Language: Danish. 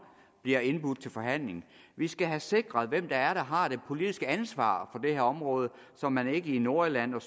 bliver indbudt til forhandling vi skal have sikret hvem det er der har det politiske ansvar på det her område så man ikke i nordjylland og